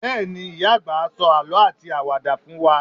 Bẹ́ẹ̀ni, ìyá-àgbà á sọ àlọ́ àti àwàdà fún wa.